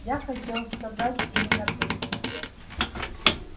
я хотел сказать именно при тебе